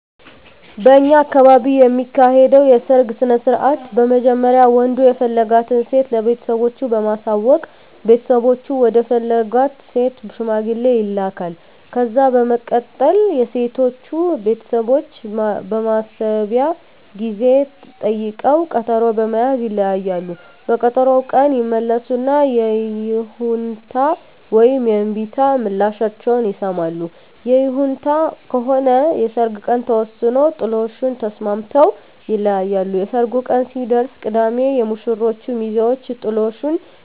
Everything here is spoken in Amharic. በእኛ አካባቢ የሚካሄደዉ የሰርግ ስነስርአት በመጀመሪያ ወንዱ የፈለጋትን ሴት ለቤተሰቦቹ በማሳወቅ ቤተሰቦቹ ወደ ፈለጋት ሴት ሽማግሌ ይላካል። ከዛ በመቀጠል የሴቶቹ ቤተሰቦች የማሰቢያ ጊዜ ጠይቀዉ ቀጠሮ በመያዝ ይለያያሉ። በቀጠሮዉ ቀን ይመለሱና የይሁንታ ወይም የእምቢታ ምላሻቸዉን ይሰማሉ። ይሁንታ ከሆነ የሰርጉ ቀን ተወስኖ ጥሎሹን ተስማምተዉ ይለያያሉ። የሰርጉ ቀን ሲደርስ ቅዳሜ የሙሽሮቹ ሚዜወች ጥሎሹን